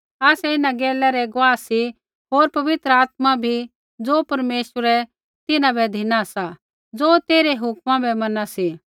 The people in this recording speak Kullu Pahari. आसै इन्हां गैलै रै गुआही सी होर पवित्र आत्मा बी ज़ो परमेश्वरै तिन्हां बै धिनी सा ज़ो तेइरै हुक्मा बै मैना सी